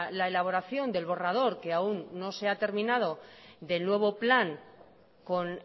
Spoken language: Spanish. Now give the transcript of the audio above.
la elaboración del borrador que aún no se ha terminado del nuevo plan con